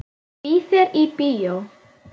Ég býð þér í bíó.